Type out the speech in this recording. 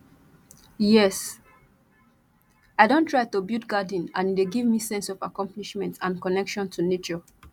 yes i don try to build garden and e dey give me sense of accomplishment and connection to nature